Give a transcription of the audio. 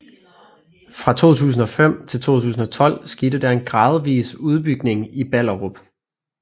Fra 2005 til 2012 skete der en gradvis udbygning i Ballerup